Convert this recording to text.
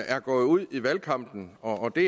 er gået ud i valgkampen og det